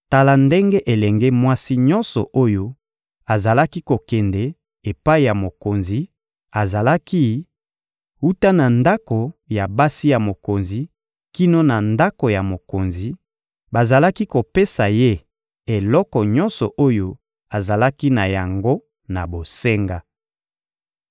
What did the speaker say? Tala ndenge elenge mwasi nyonso oyo azalaki kokende epai ya mokonzi azalaki: Wuta na ndako ya basi ya mokonzi kino na ndako ya mokonzi, bazalaki kopesa ye eloko nyonso oyo azalaki na yango na bosenga.